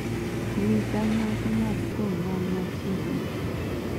nyisa nyasi mag thum man machiegni